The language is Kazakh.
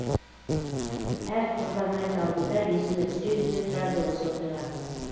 әр құрбан айт алдында есіме түседі де тұрады осы оқиға